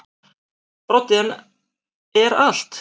Broddi: En er allt.